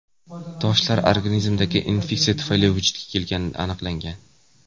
Toshlar organizmdagi infeksiya tufayli vujudga kelgani aniqlangan.